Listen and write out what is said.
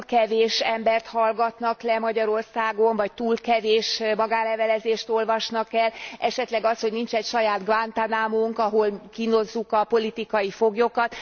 Hogy túl kevés embert hallgatnak le Magyarországon, vagy túl kevés magánlevelezést olvasnak el, esetleg az, hogy nincsen saját Guantánamónk, ahol kínozzuk a politikai foglyokat?